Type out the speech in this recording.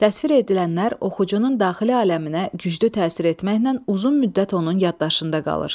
Təsvir edilənlər oxucunun daxili aləminə güclü təsir etməklə uzun müddət onun yaddaşında qalır.